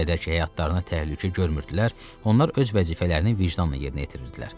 Nə qədər ki həyatlarına təhlükə görmürdülər, onlar öz vəzifələrini vicdanla yerinə yetirirdilər.